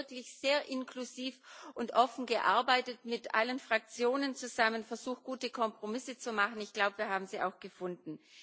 Sie hat wirklich sehr inklusiv und offen gearbeitet, mit allen Fraktionen zusammen versucht, gute Kompromisse zu machen ich glaube, wir haben sie auch gefunden.